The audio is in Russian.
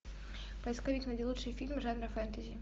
поисковик найди лучшие фильмы жанра фэнтези